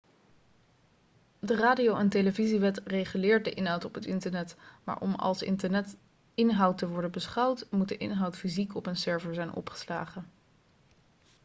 de radio en televisiewet reguleert de inhoud op het internet maar om als internetinhoud te worden beschouwd moet de inhoud fysiek op een server zijn opgeslagen